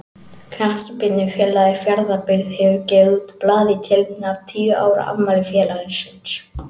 Knattspyrnufélagið Fjarðabyggð hefur gefið út blað í tilefni af tíu ára afmæli félagsins.